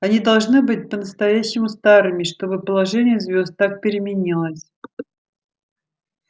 они должны быть по-настоящему старыми чтобы положение звёзд так переменилось